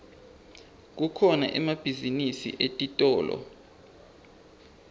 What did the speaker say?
kukhona emabhizinisi etitolo